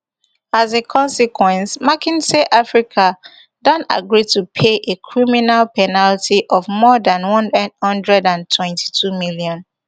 as a consequence mckinsey africa don agree to pay a criminal penalty of more dan one hundred and twenty-two million